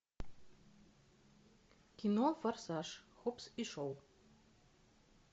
кино форсаж хоббс и шоу